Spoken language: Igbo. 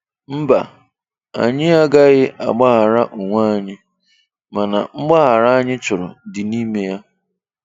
Mba, anyị agaghị agbághàrá onwe anyị, mana mgbághàrá anyị chọrọ dị n'ime ya.